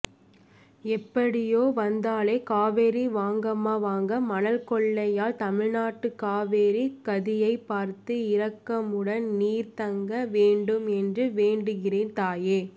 எப்படியோ வந்தாலே காவேரி வாங்கம்மா வாங்க மணல்கொள்ளையால் தமிழ்நாட்டுகாவிரிகதியைப்பார்த்து இறக்கமுடன் நீர் தங்க வேண்டும் என்று வேண்டுகிறேன் தாயே